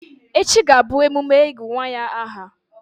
Echi ga-abụ emume ịgụ̀ nwa ya ahà.